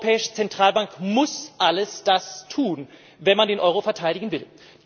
Die Europäische Zentralbank muss all das tun, wenn man den Euro verteidigen will.